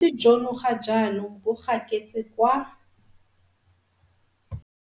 Jono ga jaanong bo gaketse kwa